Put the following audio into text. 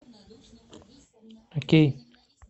окей